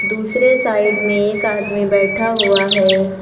दूसरे साइड में एक आदमी बैठा हुआ है।